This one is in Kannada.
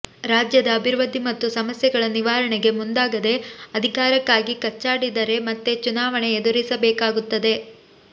ರಾಜ್ಯದ ಅಭಿವೃದ್ಧಿ ಮತ್ತು ಸಮಸ್ಯೆಗಳ ನಿವಾರಣೆಗೆ ಮುಂದಾಗದೆ ಅಧಿಕಾರಕ್ಕಾಗಿ ಕಚ್ಚಾಡಿದರೆ ಮತ್ತೆ ಚುನಾವಣೆ ಎದುರಿಸಬೇಕಾಗುತ್ತದೆ